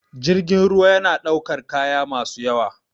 Jirgin ruwa yana ɗaukar kaya masu yawa